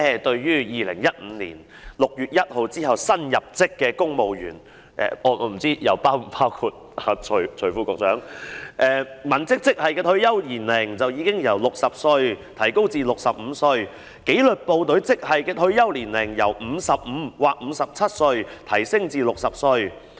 對於2015年6月1日之後入職的公務員——我不知道是否包括徐副局長——文職職系的退休年齡已經由60歲提高至65歲，而紀律部隊職系的退休年齡由55歲或57歲提高至60歲。